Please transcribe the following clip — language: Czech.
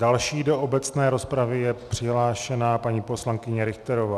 Další do obecné rozpravy je přihlášena paní poslankyně Richterová.